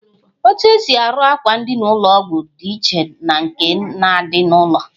Etu esi arụ akwa ndina ụlọ ọgwụ dị iche na nke na-adị n'ụlọ.